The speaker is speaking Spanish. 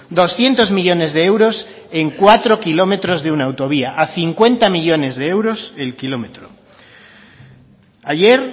doscientos millónes de euros en cuatro kilómetros de una autovía a cincuenta millónes de euros el kilómetro ayer